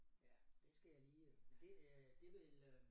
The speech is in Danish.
Ja det skal jeg lige. Det øh det vil øh